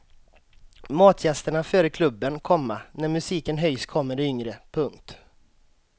Matgästerna före klubben, komma när musiken höjs kommer de yngre. punkt